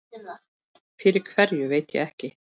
Fyrir hverju veit ég ekki.